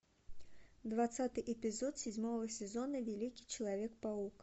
двадцатый эпизод седьмого сезона великий человек паук